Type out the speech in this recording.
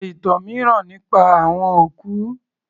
Sọ ìtàn mìíràn nípa àwọn òkú